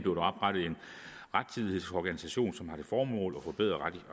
rettidighedsorganisation som har til formål at forbedre